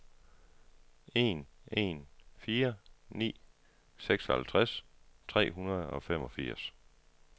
en en fire ni seksoghalvtreds tre hundrede og femogfirs